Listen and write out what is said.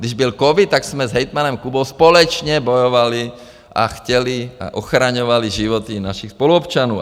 Když byl covid, tak jsme s hejtmanem Kubou společně bojovali a chtěli a ochraňovali životy našich spoluobčanů.